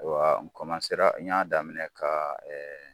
A n n y'a daminɛ ka